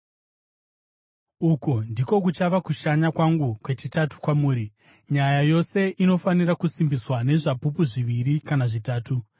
Uku ndiko kuchava kushanya kwangu kwechitatu kwamuri. Nyaya yose inofanira kusimbiswa nezvapupu zviviri kana zvitatu.